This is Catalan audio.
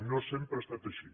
no sempre ha estat així